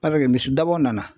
misidabaw nana.